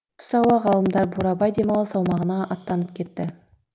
түс ауа ғалымдар бурабай демалыс аумағына аттанып кетті